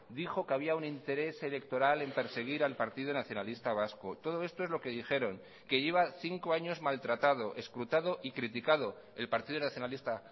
dijo que había un interés electoral en perseguir al partido nacionalista vasco todo esto es lo que dijeron que lleva cinco años maltratado escrutado y criticado el partido nacionalista